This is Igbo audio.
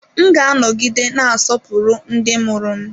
M ga-anọgide na-asọpụrụ ndị mụrụ m.